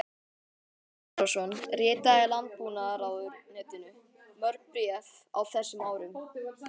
Sveinn Snorrason ritaði Landbúnaðarráðuneytinu mörg bréf á þessum árum.